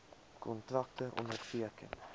kontrakte onderteken